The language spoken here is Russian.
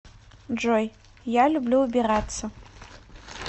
джой я люблю убираться